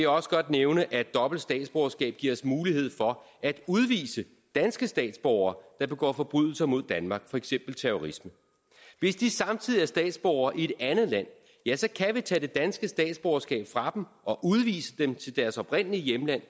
også godt nævne at dobbelt statsborgerskab giver os mulighed for at udvise danske statsborgere der begår forbrydelser mod danmark for eksempel terrorisme hvis de samtidig er statsborger i et andet land ja så kan vi tage det danske statsborgerskab fra dem og udvise dem til deres oprindelige hjemland